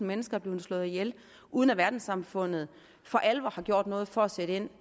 mennesker er blevet slået ihjel uden at verdenssamfundet for alvor har gjort noget for at sætte ind